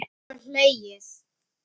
Svo er hlegið.